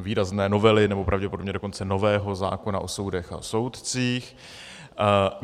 výrazné novely, nebo pravděpodobně dokonce nového zákona o soudech a soudcích.